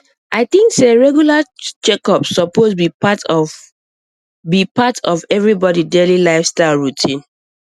i think say regular checkups suppose be part of be part of everybody daily lifestyle routine